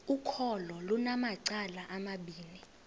ukholo lunamacala amabini